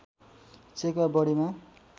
check वा बढीमा